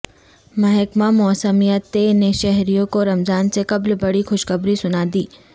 محکمہ موسمیا ت نے شہریوں کو رمضان سے قبل بڑی خوشخبری سنادی